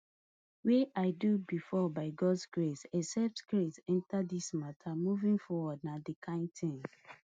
wey i do before by gods grace except crase enta dis mata moving forward na di kain tin